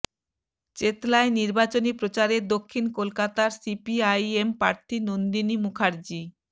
চেতলায় নির্বাচনী প্রচারে দক্ষিণ কলকাতার সিপিআইএম প্রার্থী নন্দিনী মুখার্জী